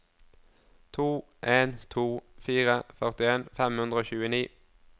to en to fire førtien fem hundre og tjueni